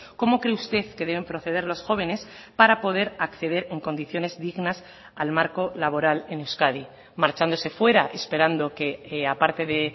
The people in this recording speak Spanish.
cómo cree usted que deben proceder los jóvenes para poder acceder en condiciones dignas al marco laboral en euskadi marchándose fuera esperando que aparte de